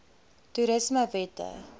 toerismewette